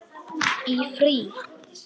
Í frí.